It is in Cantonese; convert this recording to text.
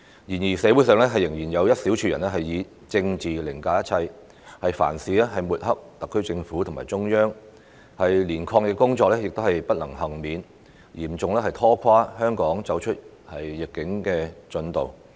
然而，社會上仍有一小撮人以政治凌駕一切，對特區政府和中央凡事抹黑，就連抗疫工作亦不能幸免，嚴重拖垮香港走出疫境的進度。